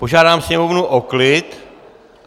Požádám sněmovnu o klid!